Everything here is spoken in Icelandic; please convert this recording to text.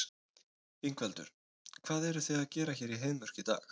Ingveldur: Hvað eruð þið að gera hér í Heiðmörk í dag?